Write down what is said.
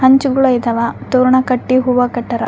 ಹಂಚುಗುಳ ಇದ್ದವ ತೋರಣ ಕಟ್ಟಿ ಹೂವ ಕಟ್ಟರ.